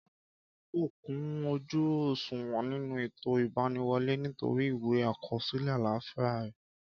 Kọ́ládé kò kún ojú òṣùwọ̀n nínú ètò ìgbaniwọlé, nítorí ìwé àkọsílẹ àlàfíà re